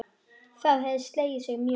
Það hefði slegið sig mjög.